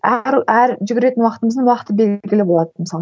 әр жүгіретін уақытымыздың уақыты белгілі болатын мысалы